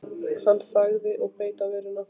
Hann þagði og beit á vörina.